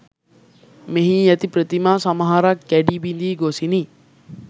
මෙහි ඇති ප්‍රතිමා සමහරක් කැඩී බිඳී ගොසිනි